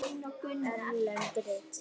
Erlend rit